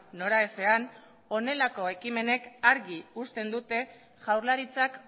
noraezean honelako ekimenek argi uzten dute jaurlaritzak